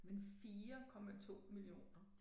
Men 4,2 millioner